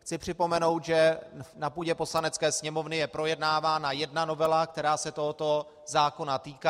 Chci připomenout, že na půdě Poslanecké sněmovny je projednávána jedna novela, která se tohoto zákona týká.